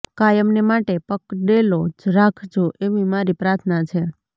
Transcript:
કાયમને માટે પકડેલો જ રાખજો એવી મારી પ્રાર્થના છે